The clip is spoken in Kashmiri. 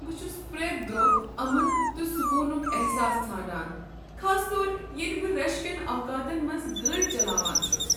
بہٕ چھس پرٛیتھ دۄہ امن تہٕ سکوٗنُک احساس ژھانٛڑان خاص طور ییٚلہ بہٕ رش کین اوقاتن منٛز گٲڑۍ چلاوان چھُس۔